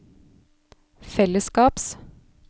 fellesskaps